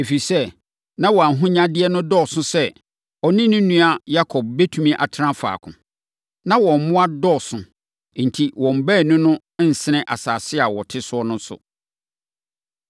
Ɛfiri sɛ, na wɔn ahonyadeɛ no dɔɔso sɛ ɔne ne nua Yakob bɛtumi atena faako. Na wɔn mmoa dodoɔ enti, wɔn baanu no nsene asase a wɔte so no so.